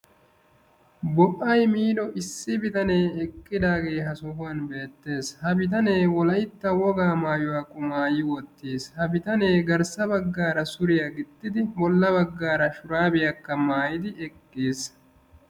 Bo'ay miido naa"u bitaneti issisan eqqidaageeti beettoosona. ha naatikka maayido maayuwa meray zo"onne karettanne adil"e mera. ha maayoykka eti wolaytta gidiyoogaa wolayttatettaa qonccissiyaga.